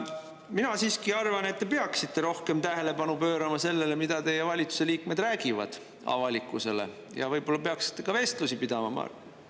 Mina siiski arvan, et te peaksite rohkem tähelepanu pöörama sellele, mida teie valitsuse liikmed räägivad avalikkusele ja võib-olla peaksite ka vestlusi pidama.